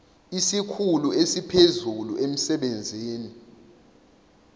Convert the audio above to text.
isikhulu esiphezulu emsebenzini